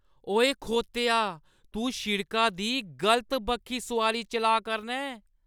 ओए, खोतेआ। तूं शिड़का दी गलत बक्खी सोआरी चलाऽ करना ऐं।